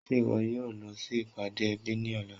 Ṣe iwọ yóò lọ sí ipádé èbí ni ọ̀lá?